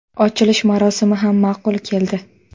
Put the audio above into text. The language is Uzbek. Ochilish marosimi ham ma’qul keldi.